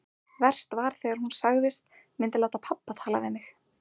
Verst var þegar hún sagðist myndu láta pabba tala við mig.